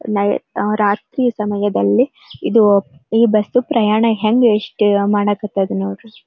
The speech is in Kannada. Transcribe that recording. ನೈ ಆಹ್ಹ್ ರಾತ್ರಿಯ ಸಮಯದಲ್ಲಿ ಇದು ಈ ಬಸ್ ಪ್ರಯಾಣ ಹೆಂಗೆ ಇಷ್ಟೇ ಮಾಡಕ್ಕತ್ತದೆ ನೋಡ್ರಿ .